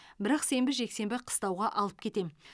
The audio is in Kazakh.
бірақ сенбі жексенбі қыстауға алып кетемін